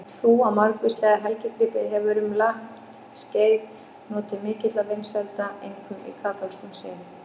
Trú á margvíslega helgigripi hefur um langt skeið notið mikilla vinsælda, einkum í kaþólskum sið.